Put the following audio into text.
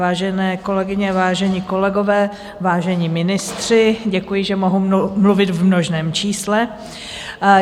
Vážené kolegyně, vážení kolegové, vážení ministři - děkuji, že mohu mluvit v množném čísle.